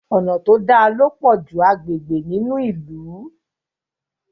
Ọnà to dá ló pojú agbègbè nínú ilú.